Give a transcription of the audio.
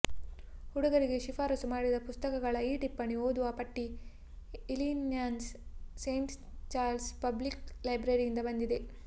ಹುಡುಗರಿಗೆ ಶಿಫಾರಸು ಮಾಡಿದ ಪುಸ್ತಕಗಳ ಈ ಟಿಪ್ಪಣಿ ಓದುವ ಪಟ್ಟಿ ಇಲಿನಾಯ್ಸ್ನ ಸೇಂಟ್ ಚಾರ್ಲ್ಸ್ ಪಬ್ಲಿಕ್ ಲೈಬ್ರರಿಯಿಂದ ಬಂದಿದೆ